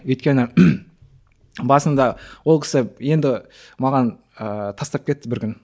өйткені басында ол кісі енді маған ыыы тастап кетті бір күні